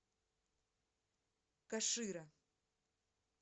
кашира